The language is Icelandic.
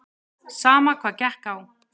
Sama hvað gekk á.